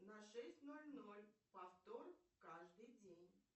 на шесть ноль ноль повтор каждый день